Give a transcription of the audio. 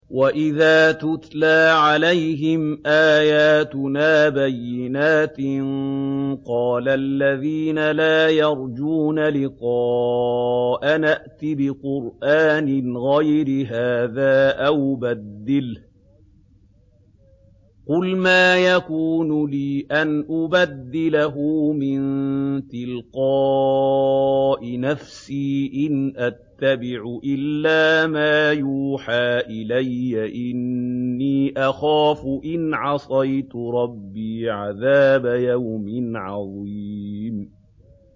وَإِذَا تُتْلَىٰ عَلَيْهِمْ آيَاتُنَا بَيِّنَاتٍ ۙ قَالَ الَّذِينَ لَا يَرْجُونَ لِقَاءَنَا ائْتِ بِقُرْآنٍ غَيْرِ هَٰذَا أَوْ بَدِّلْهُ ۚ قُلْ مَا يَكُونُ لِي أَنْ أُبَدِّلَهُ مِن تِلْقَاءِ نَفْسِي ۖ إِنْ أَتَّبِعُ إِلَّا مَا يُوحَىٰ إِلَيَّ ۖ إِنِّي أَخَافُ إِنْ عَصَيْتُ رَبِّي عَذَابَ يَوْمٍ عَظِيمٍ